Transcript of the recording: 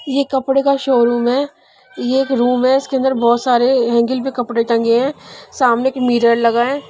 यह कपड़े का शोरूम है यह एक रूम है इसके अंदर बहुत सारे हेंगर भी कपड़े टंगे हैं सामने एक मिरर लगा है।